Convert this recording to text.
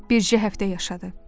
Bircə həftə yaşadı.